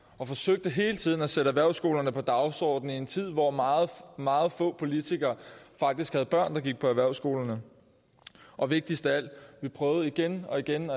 og forsøgte hele tiden at sætte erhvervsskolerne på dagsordenen i en tid hvor meget meget få politikere faktisk havde børn der gik på erhvervsskolerne og vigtigst af alt vi prøvede igen og igen